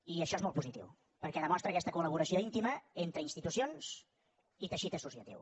i això és molt positiu perquè demostra aquesta col·laboració íntima entre institucions i teixit associatiu